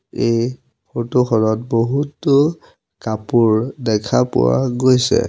এই ফটো খনত বহুতো কাপোৰ দেখা পোৱা গৈছে।